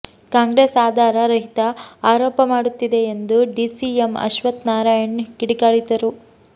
ಕಾಂಗ್ರೆಸ್ ಆಧಾರ ರಹಿತ ಆರೋಪ ಮಾಡುತ್ತಿದೆ ಎಂದು ಡಿಸಿಎಂ ಅಶ್ವಥ್ ನಾರಾಯಣ್ ಕಿಡಿಕಾರಿದರು